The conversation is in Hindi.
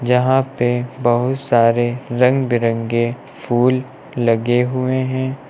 यहां पे बहुत सारे रंग बिरंगे फूल लगे हुए हैं।